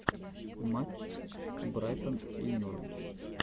матч брайтон и норвич